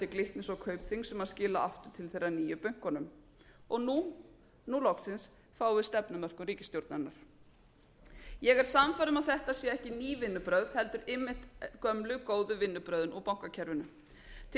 glitnis og kaupþings sem skila áttu til þeirra nýju bönkunum og nú loksins fáum við stefnumörkun ríkisstjórnarinnar ég er sannfærð um að þetta séu ekki ný vinnubrögð heldur einmitt gömlu góðu vinnubrögðin úr bankakerfinu til